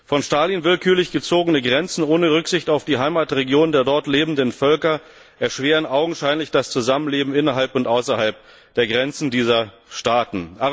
Von Stalin willkürlich gezogene Grenzen ohne Rücksicht auf die Heimatregionen der dort lebenden Völker erschweren augenscheinlich das Zusammenleben innerhalb und außerhalb der Grenzen dieser Staaten.